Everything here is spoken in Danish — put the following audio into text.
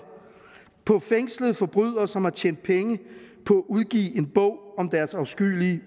på fængslede forbrydere som har tjent penge på at udgive en bog om deres afskyelige